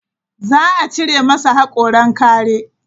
Za a cire masa haƙoran kare.